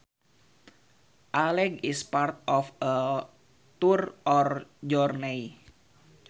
A leg is part of a tour or journey